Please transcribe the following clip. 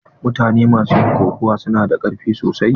Mutane ma su yin kokawa su na da karfi sosai.